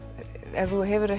ef þú hefur